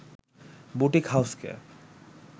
boutique হাউসকে